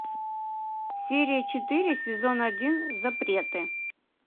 серия четыре сезон один запреты